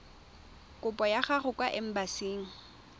kopo ya gago kwa embasing